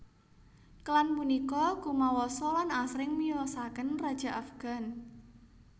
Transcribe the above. Klan punika kumawasa lan asring miyosaken raja Afgan